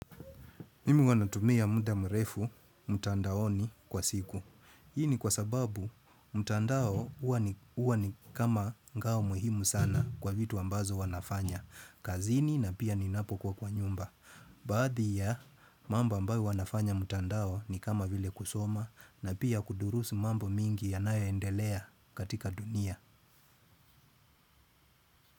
Mimi ua natumia muda mrefu, mtandaoni kwa siku. Hii ni kwa sababu, mtandao uwa ni kama ngao muhimu sana kwa vitu ambazo wanafanya. Kazini na pia ninapo kua kwa nyumba. Baadhi ya mamba ambayo wanafanya mtandao ni kama vile kusoma na pia kudurusi mambo mingi yanayo endelea katika dunia.